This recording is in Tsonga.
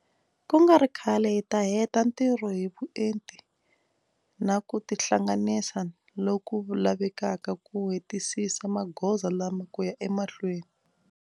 Ku nga ri khale hi ta heta ntirho hi vuenti na ku tihlanganisa lo ku lavekaka ku hetisisa magoza lama ku ya emahlweni.